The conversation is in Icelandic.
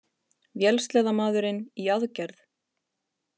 Vélsleðamaðurinn í aðgerð